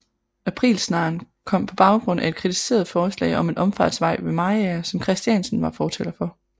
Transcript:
Aprilsnaren kom på baggrund af et kritiseret forslag om en omfartsvej ved Mariager som Christiansen var fortaler for